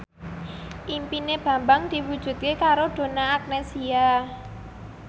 impine Bambang diwujudke karo Donna Agnesia